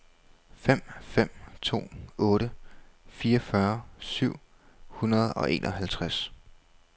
fem fem to otte fireogfyrre syv hundrede og enoghalvtreds